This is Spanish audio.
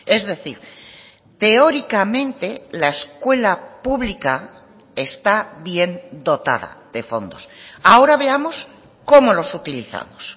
es decir teóricamente la escuela pública está bien dotada de fondos ahora veamos cómo los utilizamos